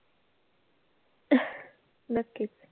नक्कीच.